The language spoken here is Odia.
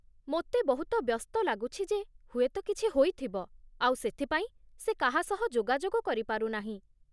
ମୋତେ ବହୁତ ବ୍ୟସ୍ତ ଲାଗୁଛି ଯେ ହୁଏତ କିଛି ହୋଇଥିବ, ଆଉ ସେଥିପାଇଁ ସେ କାହା ସହ ଯୋଗାଯୋଗ କରିପାରୁ ନାହିଁ ।